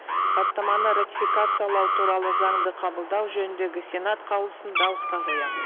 хаттаманы ратификациялау туралы заңды қабылдау жөніндегі сенат қаулысын дауысқа қоямын